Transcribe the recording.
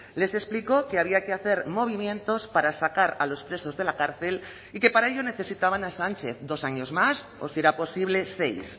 les explicó que había que hacer movimientos para sacar a los presos de la cárcel y que para ello necesitaban a sánchez dos años más o si era posible seis